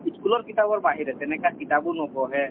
সি school ৰ কিতাপৰ বাহিৰে তেনেকে কিতাপো নপঢ়ে